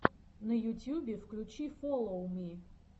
на ютюбе включи фоллоу ми